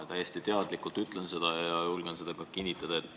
Ma täiesti teadlikult ütlen seda ja julgen ka kinnitada.